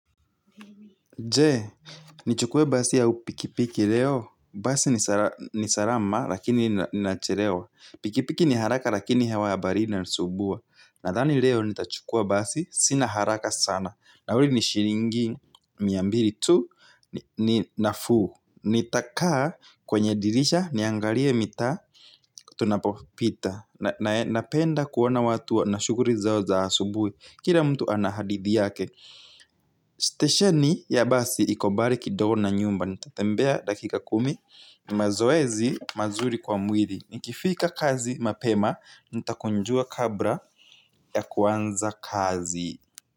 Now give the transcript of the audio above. Je ni chukuwe basi au pikipiki leo basi ni salama lakini nachelewa. Pikipiki ni haraka lakini hewa ya bahari inasumbua. Nathani leo nitachukwa basi sina haraka sana. Nauli ni shilingi miambili tu na fuu. Nitakaa kwenye dirisha niangalie mitaa tunapopita. Na penda kuona watu wa na shughuli zao za asubuhi. Kila mtu anahadithi yake. Stationi ya basi iko mbali kidogo na nyumba. Nitatembea dakika kumi. Mazoezi mazuri kwa mwili. Nikifika kazi mapema nita kunjua kabla ya kuanza kazi.